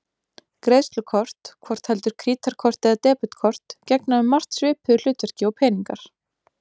Greiðslukort, hvort heldur krítarkort eða debetkort, gegna um margt svipuðu hlutverki og peningar.